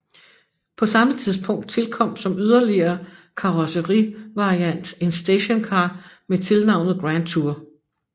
På samme tidspunkt tilkom som yderligere karrosserivariant en stationcar med tilnavnet Grandtour